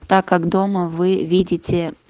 так как дома вы видите